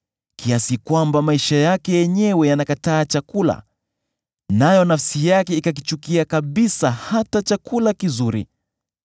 kiasi kwamba maisha yake yenyewe yanakataa chakula nayo nafsi yake ikakichukia kabisa hata chakula kizuri.